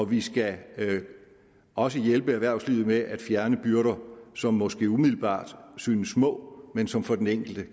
vi skal også hjælpe erhvervslivet med at fjerne byrder som måske umiddelbart synes små men som for den enkelte